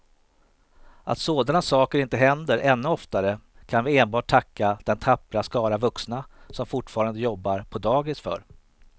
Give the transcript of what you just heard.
Att sådana saker inte händer ännu oftare kan vi enbart tacka den tappra skara vuxna som fortfarande jobbar på dagis för.